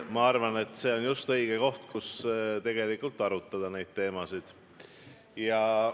Ma arvan, et see on just õige koht, kus neid teemasid arutada.